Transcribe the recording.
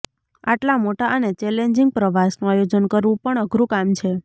આટલા મોટા અને ચેલેન્જિંગ પ્રવાસનું આયોજન કરવું પણ અઘરું કામ છે